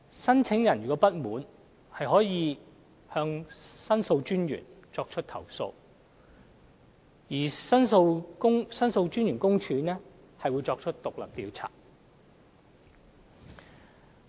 申請人如有不滿，可向獨立的申訴專員公署作出投訴，申訴專員公署會作出獨立調查。